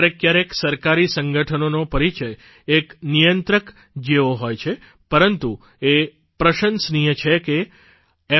ક્યારેક ક્યારેક સરકારી સંગઠનોનો પરિચય એક નિયંત્રકની જેવો હોય છે પરંતુ એ પ્રશંસનીય છે કે f